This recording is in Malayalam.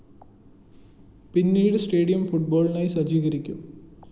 പിന്നീട് സ്റ്റേഡിയം ഫുട്ബോളിനായി സജ്ജീകരിക്കും